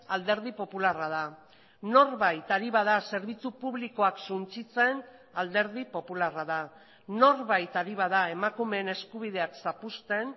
alderdi popularra da norbait ari bada zerbitzu publikoak suntsitzen alderdi popularra da norbait ari bada emakumeen eskubideak zapuzten